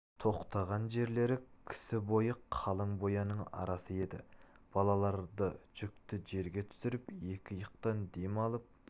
тоқтаған жерлері кісі бойы қалың бояның арасы еді балаларды жүкті жерге түсіріп екі иықтан дем алып